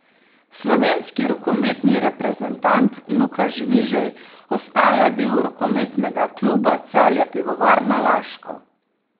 Slovenski rokometni reprezentant Luka Žvižej ostaja del rokometnega kluba Celje Pivovarna Laško.